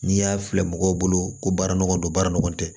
N'i y'a filɛ mɔgɔw bolo ko baara nɔgɔ don baara nɔgɔ tɛ